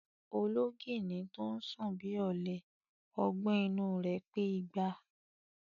Ológìnní tó sùn bí ọ̀lẹ, ọgbọ́n inú u rẹ̀ pé igba.